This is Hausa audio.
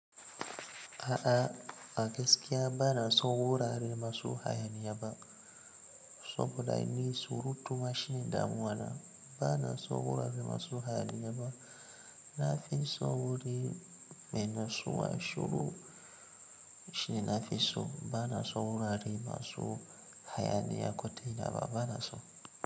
A'a a gaskiya ba na so wurare masu hayaniya ba. Saboda ni surutu mashi ne damuwa na ba na so wurare masu hayaniya ba. Na fi so wuri mai natsuwa shiru shine nafi so. Ba na so wurare masu hayaniya ko ta ina ba, ba na so.